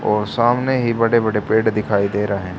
और सामने ही बड़े बड़े पेड़ दिखाई दे रहे--